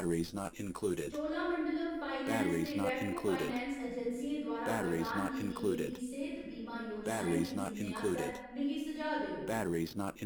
Cholamandalam finance ते Repco finance अजैंसियें द्वारा प्रदान कीती गेदी सेह्‌त बीमा योजनाएं गी चुनने आस्तै मिगी सुझाऽ देओ।